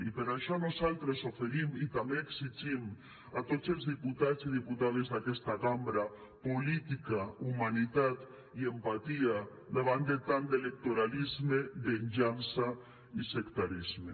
i per això nosaltres oferim i també ho exigim a tots els diputats i diputades d’aquesta cambra política humanitat i empatia davant de tant d’electoralisme venjança i sectarisme